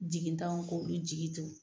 Jigi tanw k'olu jigi tugu.